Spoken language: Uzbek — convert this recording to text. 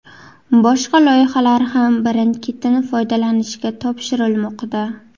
Boshqa loyihalar ham birin-ketin foydalanishga topshirilmoqda.